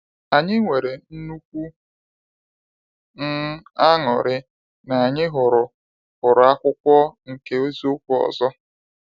Anyị nwere nnukwu um añụrị na anyị hụrụ hụrụ akwụkwọ nke eziokwu ọzọ.